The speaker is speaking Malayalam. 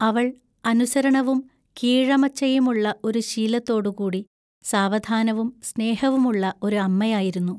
അവൾ അനുസരണവും കീഴമച്ചയുമുള്ള ഒരു ശിലത്തോടു കൂടി സാവധാനവും സ്നേഹവുമുള്ള ഒരു അമ്മയായിരുന്നു.